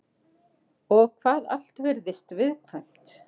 Og hvað allt virðist viðkvæmt.